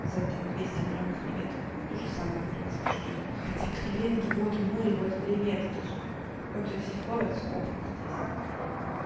за там двести грамм креветок ну тоже самое в принципе что рыба хотя креветки вот море вот креветки же ну то есть их ловят скопом здесь